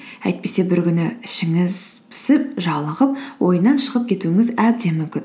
әйтпесе бір күні ішіңіз пісіп жалығып ойыннан шығып кетуіңіз әбден мүмкін